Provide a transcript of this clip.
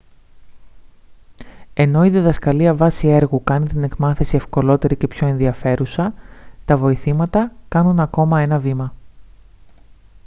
ενώ η διδασκαλία βάσει έργου κάνει την εκμάθηση ευκολότερη και πιο ενδιαφέρουσα τα βοηθήματα κάνουν ακόμα ένα βήμα